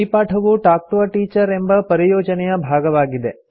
ಈ ಪಾಠವು talk to a teacher ಎಂಬ ಪರಿಯೋಜನೆಯ ಭಾಗವಾಗಿದೆ